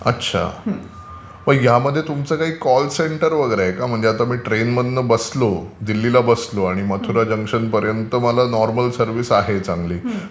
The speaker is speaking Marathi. अच्छा. मग यामध्ये तुमचं काही कॉल सेंटर वगैरे आहे का म्हणजे आता मी ट्रेनमध्ये बसलो, दिल्लीला बसलो आणि मथुरा जंक्शनपर्यन्त आम्हाला चांगली सर्व्हिस आहे.